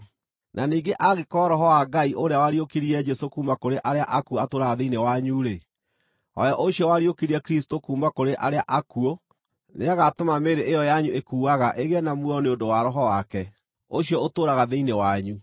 Na ningĩ angĩkorwo Roho wa Ngai ũrĩa wariũkirie Jesũ kuuma kũrĩ arĩa akuũ atũũraga thĩinĩ wanyu-rĩ, o we ũcio wariũkirie Kristũ kuuma kũrĩ arĩa akuũ nĩagatũma mĩĩrĩ ĩyo yanyu ĩkuaga ĩgĩe na muoyo nĩ ũndũ wa Roho wake, ũcio ũtũũraga thĩinĩ wanyu.